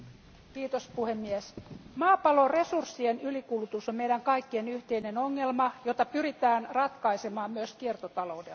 Arvoisa puhemies, maapallon resurssien ylikulutus on meidän kaikkien yhteinen ongelma, jota pyritään ratkaisemaan myös kiertotaloudella.